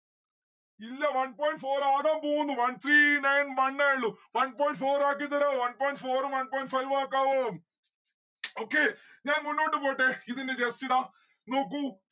ഇല്ല. one point four ആകാൻ പോകുന്നു. one three nine one ഏ ഉള്ളു. one point four ആക്കി തെരാവോ one point four ഉം one point five ഉ ആക്കാവോ okay ഞാൻ മുന്നോട്ട് പോട്ടെ ഇതിന്റെ just ഇതാ നോക്കൂ